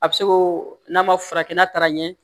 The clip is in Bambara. A bɛ se k'o n'a ma furakɛ n'a taara ɲɛ